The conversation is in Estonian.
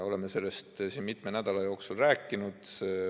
Oleme sellest siin mitme nädala jooksul rääkinud.